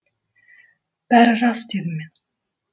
бәрі рас дедім мен